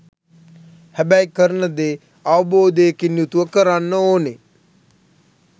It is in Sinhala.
හැබැයි කරන දේ අවබෝධයකින් යුතුව කරන්න ඕනේ.